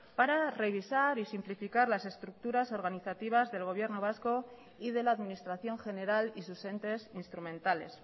para revisar y simplificar las estructuras organizativas del gobierno vasco y de la administración general y sus entes instrumentales